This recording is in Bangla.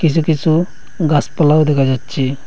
কিসু কিসু গাসপালাও দেখা যাচ্ছে।